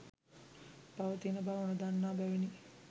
පවතින බව නොදන්නා බැවිනි.